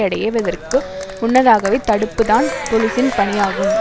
அடைவதற்கு முன்னதாகவே தடுப்பு தான் போலீசின் பணியாகும்